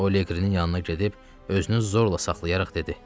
O Liqrinin yanına gedib, özünü zorla saxlayaraq dedi: